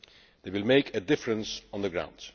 It will make a difference on the ground.